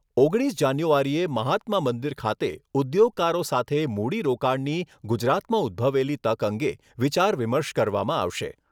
ઓગણીસ જાન્યુઆરીએ મહાત્મા મંદિર ખાતે ઉદ્યોગકારો સાથે મૂડીરોકાણની ગુજરાતમાં ઉદભવેલી તક અંગે વિચાર વિમર્શ કરવામાં આવશે.